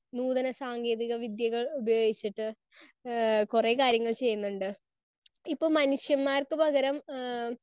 Speaker 1 നൂതന സാങ്കേതിക വിദ്യകൾ ഉപയോഗിച്ചിട്ട് ഏഹ് കുറേ കാര്യങ്ങൾ ചെയ്യുന്നുണ്ട്. ഇപ്പോ മനുഷ്യന്മാർക്ക് പകരം ആഹ്